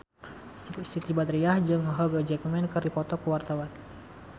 Siti Badriah jeung Hugh Jackman keur dipoto ku wartawan